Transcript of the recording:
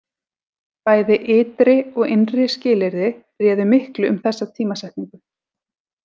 Bæði ytri og innri skilyrði réðu miklu um þessa tímasetningu.